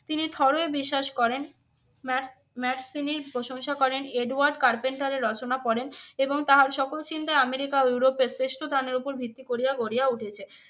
তিনি বিশ্বাস করেন। ম্যাক ম্যাকসিনির প্রশংসা করেন এডওয়ার্ড কার্পেন্টারের রচনা পড়েন এবং তাহার সকল চিন্তায় আমেরিকা ও ইউরোপের শ্রেষ্ঠ উপর ভিত্তি করিয়া গড়িয়া উঠেছে।